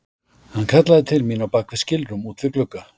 Hann kallaði til mín á bak við skilrúm út við glugga.